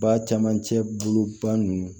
Ba camancɛ bolo ba ninnu